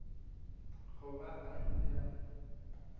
go ba a ile a